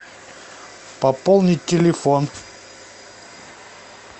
пополнить телефон